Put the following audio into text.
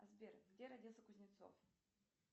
сбер где родился кузнецов